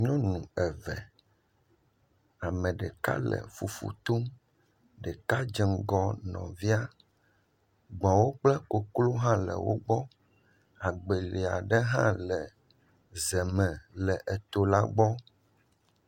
Nyɔnu eve, ame ɖeka le fufu tom ɖeka dze ŋgɔ nɔvia, gbɔ̃wo kple koklo hã le wo gbɔ agbeli aɖe hã le ze me le eto la gbɔ.